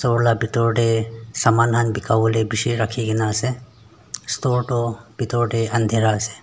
store la bhedor tey saman khan beka bole beshe rakhe kena ase store tu bedor tey undhera ase.